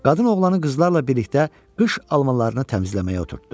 Qadın oğlanı qızlarla birlikdə qış almalarını təmizləməyə oturtdudu.